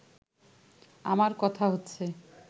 আমার কথা হচ্ছে